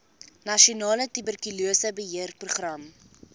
nasionale tuberkulose beheerprogram